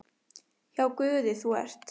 Hjá Guði þú ert.